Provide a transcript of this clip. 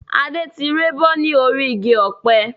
Adé tí rébọ́ ni orí igi ọ̀pẹ